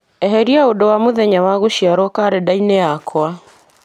eheria ũndũ wa mũthenya wa gũciarwo karenda-inĩ yakwa